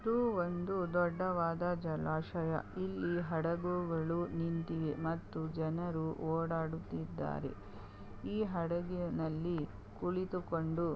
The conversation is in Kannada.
ಇದು ಒಂದು ದೊಡ್ಡವಾದ ಜಲಾಶಯ ಇಲ್ಲಿ ಹಡಗುಗಳು ನಿಂತಿವೆ ಮತ್ತು ಜನರು ಓಡಾಡುತ್ತಿದ್ದಾರೆ ಈ ಹಡಗಿನಲ್ಲಿ ಕುಳಿತುಕೊಂಡು --